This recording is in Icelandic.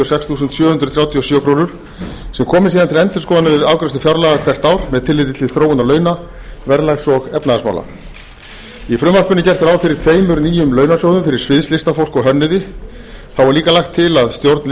sex þúsund sjö hundruð þrjátíu og sjö krónur sem komi til endurskoðunar við afgreiðslu fjárlaga hvert ár með tilliti til þróunar launa verðlags og efnahagsmála í frumvarpinu er gert ráð fyrir tveimur nýjum launasjóðum fyrir sviðslistafólk og hönnuði þá er og lagt til að stjórn